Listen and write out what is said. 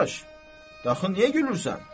Qardaş, axı niyə gülürsən?